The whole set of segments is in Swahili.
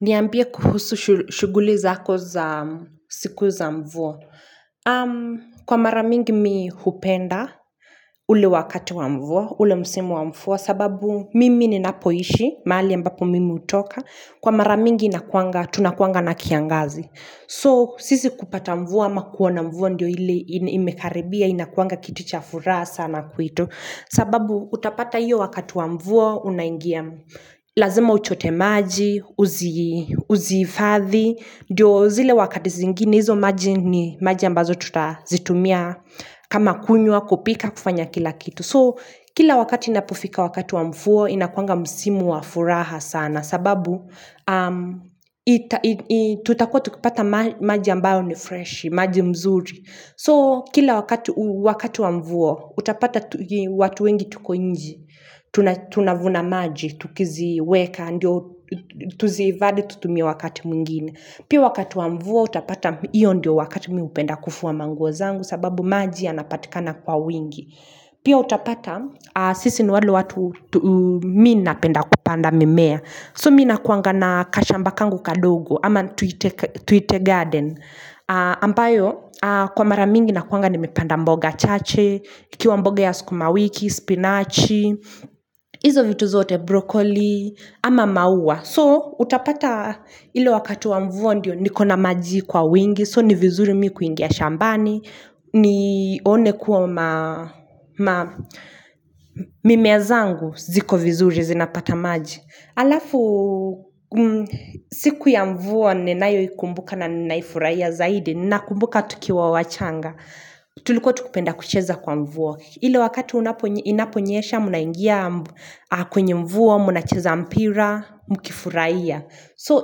Niambie kuhusu shughuli zako za siku za mvua. Kwa mara mingi mimi hupenda ule wakati wa mvua, ule msimu wa mvua, sababu mimi ninapoishi, mahali ambapo mimi hutoka. Kwa mara mingi inakuanga, tunakuanga na kiangazi. So, sisi kupata mvua ama kuona mvua ndio ile imekaribia, inakuanga kitu cha furaha sana kwetu sababu utapata hiyo wakat wa mvua unaingia lazima uchote maji, uzihifathi ndio zile wakati zingine, hizo maji ni maji ambazo tutazitumia kama kunywa kupika kufanya kila kitu so kila wakati inapofika wakati wa mvua inakuanga msimu wa furaha sana sababu tutakua tukipata maji ambayo ni fresh, maji mzuri So, kila wakati wa mvua, utapata watu wengi tuko nje. Tunavuna maji, tukiziweka, ndio tuzhifadhii tutumie wakati mwingine. Pia wakati wa mvua, utapata iyo ndio wakati mimi hupenda kufua manguo zangu, sababu maji yanapatikana kwa wingi. Pia utapata, sisi ni wale watu, mimi napenda kupanda mimea. So, mimi nakuanga na kashamba kangu kadogo, ama tuite Garden. Ambayo kwa maramingi nakuanga nimepanda mboga chache ikiwa mboga ya sukumawiki, spinachi Izo vitu zote broccoli ama mauwa So utapata ilo wakati wa mvua ndio nikona maji kwa wingi So ni vizuri mimi kuingia shambani ni one kuwa ma mimea zangu ziko vizuri zinapata maji Alafu siku ya mvua ninayo ikumbuka na ninaifurahia zaidi Nina kumbuka tukiwa wachanga Tulikuwa tukipenda kucheza kwa mvua ile wakati inaponyesha mnaingia kwenye mvua Mnacheza mpira, mkifurahia So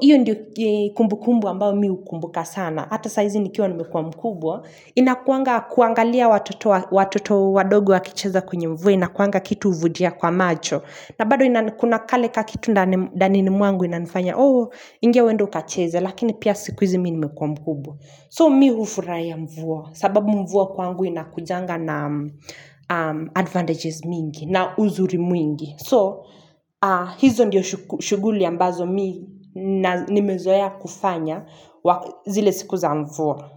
hiyo ndio kumbukumbu ambalo mimi hukumbuka sana Hata saizi nikiwa nimekuwa mkubwa inakuanga kuangalia watoto watoto wadogo wakicheza kwenye mvua inakuanga kitu huvutia kwa macho na bado inakunakale kakitu ndanini mwangu inanifanya, oo, ingia uende ukacheze, lakini pia sikuizi mimi nimekwa mkubwa So mi hufurahia mvua, sababu mvua kwangu inakujanga na advantages mingi, na uzuri mwingi. So, hizo ndiyo shughuli ambazo mimi nimezoea kufanya zile sikuza mvua.